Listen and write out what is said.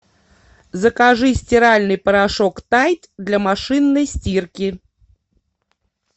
закажи стиральный порошок тайд для машинной стирки